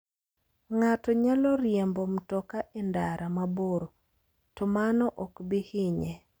Ng'ato nyalo riembo mtoka e ndara mabor, to mano ok bi hinye.